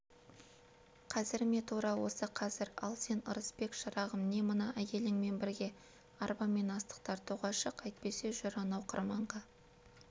қазір ме тура осы қазір ал сен ырысбек шырағым не мына әйеліңмен бірге арбамен астық тартуға шық әйтпесе жүр анау қырманға